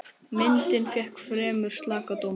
Myndin fékk fremur slaka dóma.